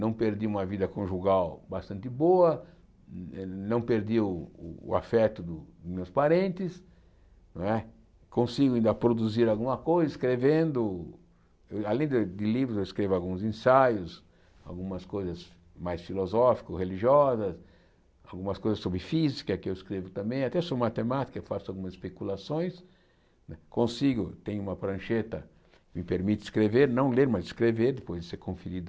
não perdi uma vida conjugal bastante boa, eh não perdi o afeto dos meus parentes, não é consigo ainda produzir alguma coisa escrevendo, além de de livros, eu escrevo alguns ensaios, algumas coisas mais filosófico religiosas, algumas coisas sobre física que eu escrevo também, até sobre matemática, eu faço algumas especulações, consigo, tenho uma prancheta que me permite escrever, não ler, mas escrever, depois de ser conferido